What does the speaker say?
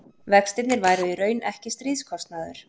vextirnir væru í raun ekki stríðskostnaður